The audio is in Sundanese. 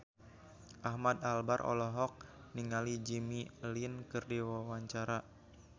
Ahmad Albar olohok ningali Jimmy Lin keur diwawancara